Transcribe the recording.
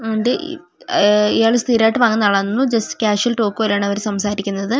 ഇയാള് സ്ഥിരമായിട്ട് വാങ്ങുന്ന ആളാണെന്നു തോന്നു ജസ്റ്റ്‌ കാഷ്വൽ ടോക്ക് പോലെയാണ് അവര് സംസാരിക്കുന്നത്.